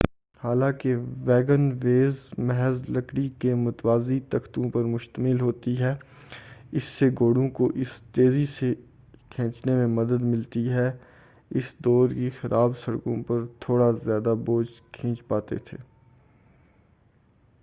حالانکہ wagonways محض لکڑی کے متوازی تختوں پر مشتمل ہوتی تھی اس سے گھوڑوں کو اسے تیزی سے کھینچنے میں مدد ملتی تھی اور اس دور کی خراب سڑکوں پر تھوڑا زیادہ بوجھ کھینچ پاتے تھے